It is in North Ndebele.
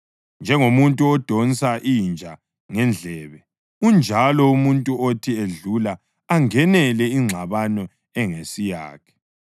Njengomuntu odonsa inja ngendlebe unjalo umuntu othi edlula angenele ingxabano ingesiyakhe.